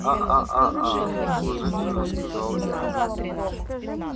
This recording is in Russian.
а а а а уважительно сказал я